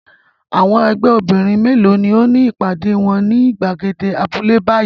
Àwọn ẹgbẹ́ obìnrin mélòó ni ó ní ìpàdé wọn ní ìgbàgede abúlé báyìí?